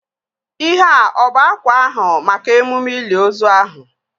Ihea ọ bụ akwa ahụ maka emume ili ozu ahụ?